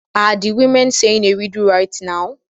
Are the women saying a riddle right now?